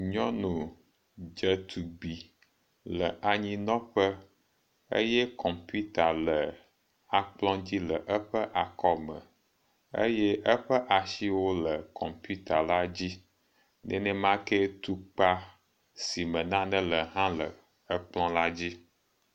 Nyɔnu dzetsugbui le anyi nɔ ƒe eye kɔmputa le akpl dzi le eƒe akɔme eye eƒe asi le kɔmputa la dzi. Nemakee tukpa si me nane le hã le ekpl la dzi.